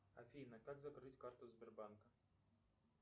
афина как закрыть карту сбербанка